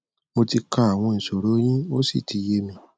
mo ti ka àwọn ìṣoro yín ó sì ti yé mi